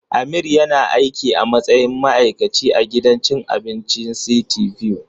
Amir yana aiki a matsayin ma'aikaci a gidan cin abincin City View.